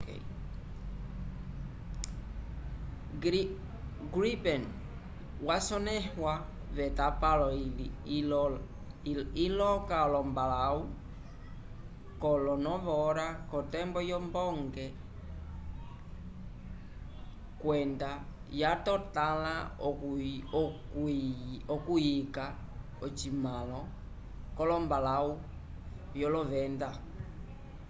jas 39c gripen yasonẽhiwa v’etapalo iloka olombalãwu kolo 9:30 k’otembo yombonge 0230 utc kwenda yatotãla okuyika ocitumãlo c’olombalãwu vyolovenda